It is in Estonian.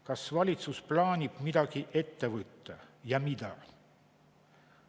Kas valitsus plaanib midagi ette võtta ja mida?